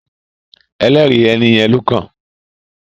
“ Ẹlẹ́rìí” ẹ nìyẹn lọ́kàn